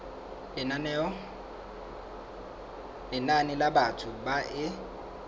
lenane la batho ba e